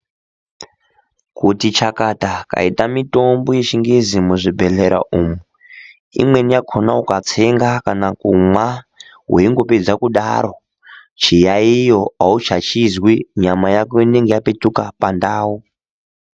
Kuti chakata yaita mitombo yechingezi muzvibhedhleya umu, imweni yakhona ukatsenga kana kumwa weingopedza kudaro, chiyayiyo auchachizwi nyama yako inenge yapetuka pandau.